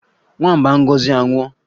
Nwamba Ngozi anwụọ?